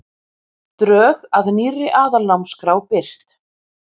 Drög að nýrri aðalnámskrá birt